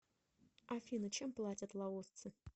афина чем платят лаосцы